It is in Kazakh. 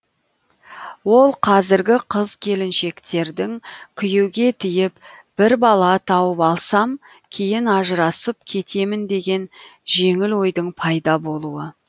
ол қазіргі қыз келіншектердің күйеуге тиіп бір бала тауып алсам кейін ажырасып кетемін деген жеңіл ойдың пайда болуы